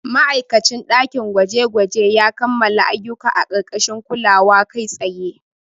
Ma'aikacin dakin gwaje-gwaje ya kammala ayyuka a ƙarƙashin kulawa kai tsaye.